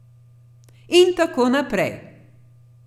In tako naprej.